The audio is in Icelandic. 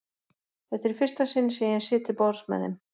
Þetta er í fyrsta sinn sem ég sit til borðs með þeim.